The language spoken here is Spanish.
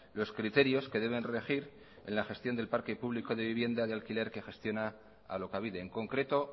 los criterios que deben regir en al gestión del parque público de vivienda de alquiler que gestiona alokabide en concreto